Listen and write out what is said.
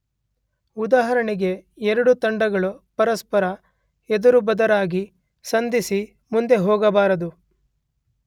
ಉದಾಹರಣೆಗೆ ಎರಡು ತಂಡಗಳು ಪರಸ್ಪರ ಎದುರುಬದರಾಗಿ ಸಂಧಿಸಿ ಮುಂದೆ ಹೋಗಬಾರದು.